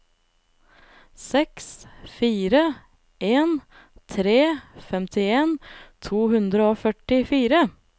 seks fire en tre femtien to hundre og førtifire